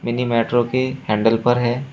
Mini metro के handle पर है।